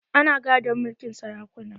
Ana gadon mulkin sarakuna